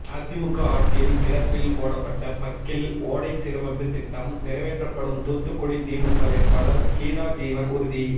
அதிமுக ஆட்சியில் கிடப்பில் போடப்பட்ட பக்கிள் ஓடை சீரமைப்பு திட்டம் நிறைவேற்றப்படும் தூத்துக்குடி திமுக வேட்பாளர் கீதாஜீவன் உறுதி